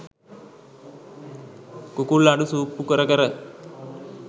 කුකුල් අඬු සූප්පු කර කර